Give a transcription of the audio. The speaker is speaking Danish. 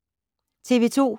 TV 2